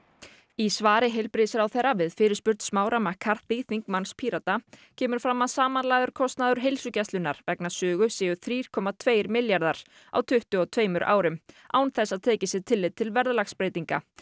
í svari heilbrigðisráðherra við fyrirspurn Smára McCarthy þingmanns Pírata kemur fram að samanlagður kostnaður heilsugæslunnar vegna Sögu séu þrír komma tveir milljarðar á tuttugu og tveimur árum án þess að tekið sé tillit til verðlagsbreytinga